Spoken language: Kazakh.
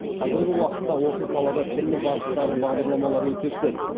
қазіргі уақытта осы салада түрлі бағыттағы бағдарламалар өте көп